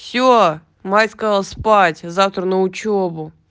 всё майского спать завтра на учёбу